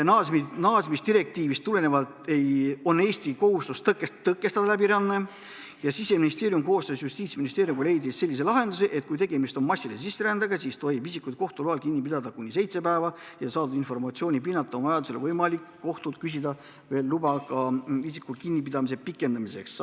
Naasmisdirektiivist tulenevalt on Eestil kohustus tõkestada läbiränne ja Siseministeerium leidis koostöös Justiitsministeeriumiga sellise lahenduse, et kui tegemist on massilise sisserändega, siis tohib isikut kohtu loal kinni pidada kuni seitse päeva ja vajadusel on võimalik kohtult küsida veel luba isiku kinnipidamise pikendamiseks.